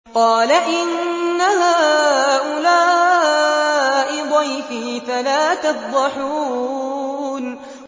قَالَ إِنَّ هَٰؤُلَاءِ ضَيْفِي فَلَا تَفْضَحُونِ